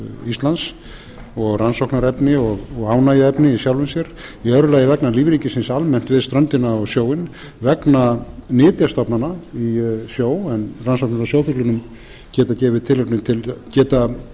íslands og rannsóknarefni og ánægjuefni í sjálfu sér í öðru lagi vegna lífríkisins almennt við ströndina og sjóinn vegna nytjastofnanna í sjó en rannsóknir á sjófuglunum geta gefið